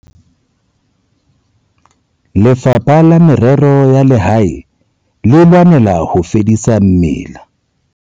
Lefapha la Merero ya Lehae le lwanela ho fedisa mela